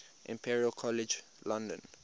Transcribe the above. imperial college london